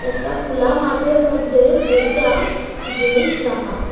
একটা খুলা মাঠের মধ্যে দুইটা জিনিস রাখা।